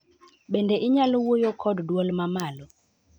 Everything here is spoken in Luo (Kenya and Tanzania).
Bende inyalo wuoyo kod duol mamalo